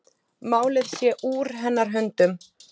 Málið sé úr hennar höndum.